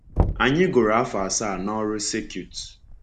Anyị gụrụ afọ asaa n’ọrụ circuit.